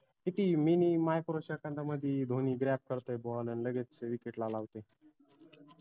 किती minimicrosecond दा मदि धोनी करतोय ball अन लगेच wicket ला लावतोय